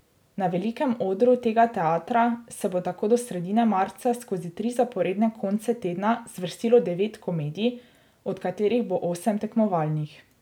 Na velikem odru tega teatra se bo tako do sredine marca skozi tri zaporedne konce tedna zvrstilo devet komedij, od katerih bo osem tekmovalnih.